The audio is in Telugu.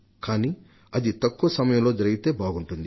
కానీ అది ఎంత త్వరగా జరిగితే అంత బాగుంటుంది